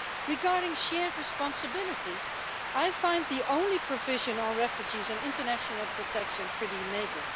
Regarding shared responsibility, I find the only provision on refugees and international protection pretty meagre.